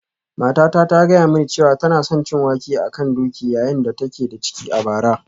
Matata ta gaya mini cewa tana son cin wake a kan doki yayin da take da ciki a bara